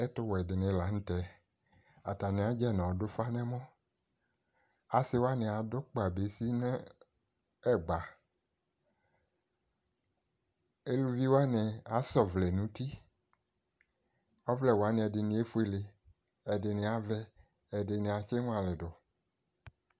Ɛtʋwɛ dɩnɩ la nʋ tɛ:atanɩ adzɛ n'ɔdʋfa n'ɛmɔ Asɩwanɩ adʋ kpa bezi n'ɛ ɛgba Eluviwanɩ as'ɔvlɛ n'uti : ɔvlɛwanɩ ɛdɩnɩ efuele, ɛdɩnɩ avɛ , ɛdɩnɩ atsɩŋʋalɩ dʋ